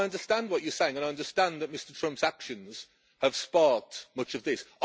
I understand what you are saying and understand that Mr Trump's actions have sparked much of this.